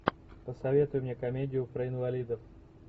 посоветуй мне комедию про инвалидов